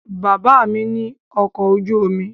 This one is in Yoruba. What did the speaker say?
Bàbá mi ní ọkọ̀ ojú omi